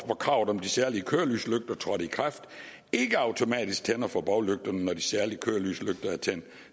kravet om de særlige kørelyslygter trådte i kraft ikke automatisk tænder for baglygterne når de særlige kørelyslygter er tændt